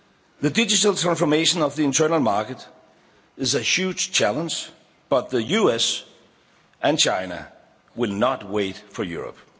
The digital transformation of the Internal Market is a huge challenge, but the US and China will not wait for